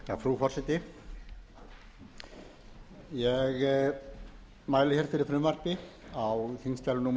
frú forseti ég mæli hér fyrir frumvarpi á þingskjali númer